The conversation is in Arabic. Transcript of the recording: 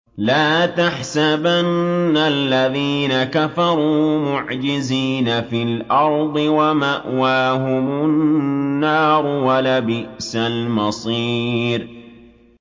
لَا تَحْسَبَنَّ الَّذِينَ كَفَرُوا مُعْجِزِينَ فِي الْأَرْضِ ۚ وَمَأْوَاهُمُ النَّارُ ۖ وَلَبِئْسَ الْمَصِيرُ